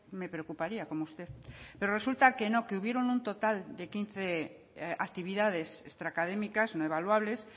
me preocuparía como usted pero resulta que no que hubieron un total de quince actividades extra académicas no evaluables